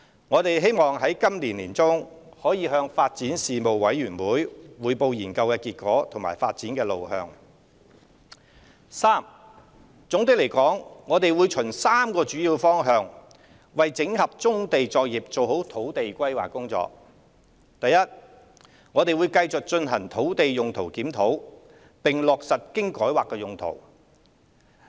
我們希望在本年年中可以向發展事務委員會匯報研究的結果及發展路向。三總的來說，我們會循3個主要方向為整合棕地作業做好土地規劃工作。第一，我們會繼續進行土地用途檢討並落實經改劃的用途。